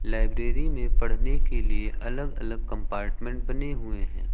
Library में पढ़ने के लिए अलग अलग कंपार्टमेंट बने हुए हैं।